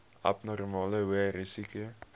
abnormale hoë risiko